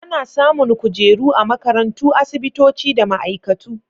Ana samun kujera a makarantu, asibitoci da ma'aikatu.